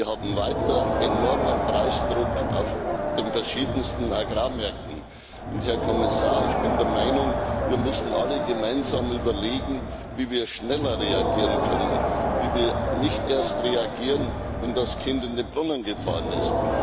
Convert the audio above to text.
Wir haben weiter enormen Preisdruck auf den verschiedensten Agrarmärkten, und, Herr Kommissar, ich bin der Meinung, wir müssen alle gemeinsam überlegen, wie wir schneller reagieren können, wie wir nicht erst reagieren, wenn das Kind in den Brunnen gefallen ist.